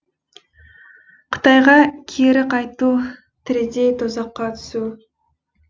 қытайға кері қайту тірідей тозаққа түсу